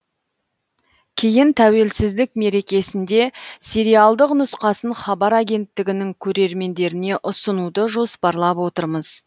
кейін тәуелсіздік мерекесінде сериалдық нұсқасын хабар агенттігінің көрермендеріне ұсынуды жоспарлап отырмыз